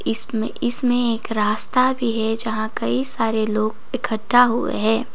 इसमें इसमें एक रास्ता भी है जहां कई सारे लोग इकट्ठा हुए हैं।